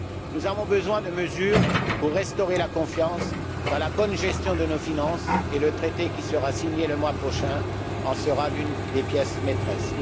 Nous avons besoin de mesures pour restaurer la confiance dans la bonne gestion de nos finances et le traité qui sera signé le mois prochain en sera l'une des pièces maîtresses.